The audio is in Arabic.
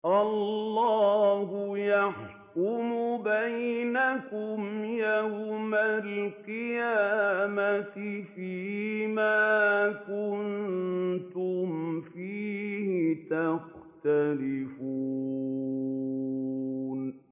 اللَّهُ يَحْكُمُ بَيْنَكُمْ يَوْمَ الْقِيَامَةِ فِيمَا كُنتُمْ فِيهِ تَخْتَلِفُونَ